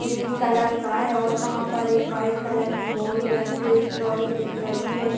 Green colour का है और वहाँ पर एक वाईट कलर की बोरी रखी हुयी ट्रॉली दिख रही है।